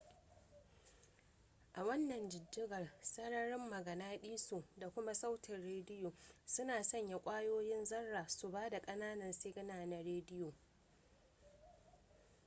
a wannan jijjigar sararin maganaɗiso da kuma sautin rediyo suna sanya ƙwayoyin zarra su ba da ƙananan sigina na rediyo